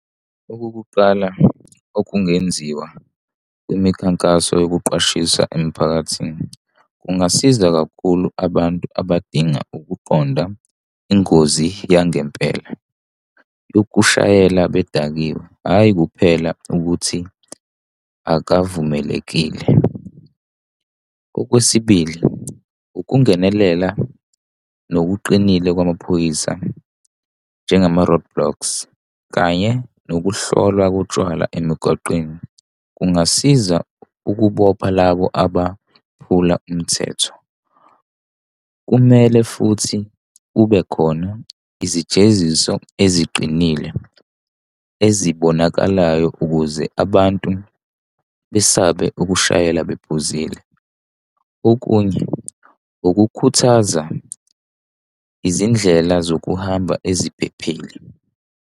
Okokuqala okungenziwa imikhankaso yokuqwashisa emiphakathini, kungasiza kakhulu abantu abadinga ukuqonda ingozi yangempela yokushayela bedakiwe, hhayi kuphela ukuthi akavumelekile. Okwesibili, ukungenelela ngokuqinile kwamaphoyisa njengama-roadblocks kanye nokuhlola kotshwala emigwaqeni kungasiza ukubopha labo abaphula umthetho. Kumele futhi kube khona izijeziso eziqinile ezibonakalayo ukuze abantu besabe ukushayela bephuzile. Okunye ukukhuthaza izindlela zokuhamba eziphephile.